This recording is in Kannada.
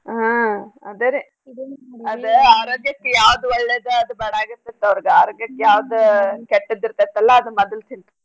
ಹಾ ಅದರೀ ಅದ ಆರೋಗ್ಯಕ್ಕೆ ಯಾವ್ದ್ ಒಳ್ಳೇದ ಅದ ಬ್ಯಾಡಾಗಿರ್ತೇತ್ ಅವ್ರ್ಗ್ ಆರೋಗ್ಯಕ್ಕ ಯಾವ್ದ್ ಕೆಟ್ಟದ್ ಇರ್ತೇತಲ್ಲ ಅದ್ನ ಮದ್ಲ ತಿಂತೀನಿ.